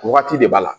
Wagati de b'a la